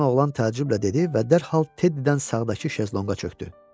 Cavan oğlan təəccüblə dedi və dərhal Teddydən sağdakı şezlonqa çökdü.